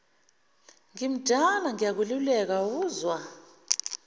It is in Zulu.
ngimdala ngiyakululeka awuzwa